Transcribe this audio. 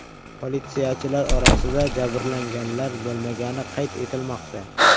Politsiyachilar orasida jabrlanganlar bo‘lmagani qayd etilmoqda.